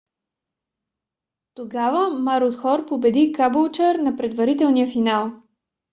тогава марудхор победи кабулчър на предварителния финал